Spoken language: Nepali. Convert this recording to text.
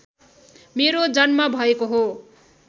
मेरो जन्म भएको हो